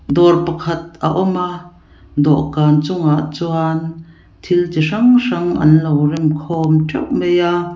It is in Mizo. dawr pakhat a awm a dawhkan chungah chuan thil tihrang hrang an lo rem khawm teuh mai a.